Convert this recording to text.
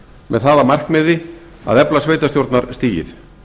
með það að markmiði að efla sveitarstjórnarstigið